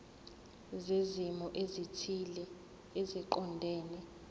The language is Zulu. zezimo ezithile eziqondene